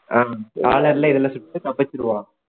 ஆஹ் collar ல இதுல சுட்டுட்டு தப்பிச்சிடுவான்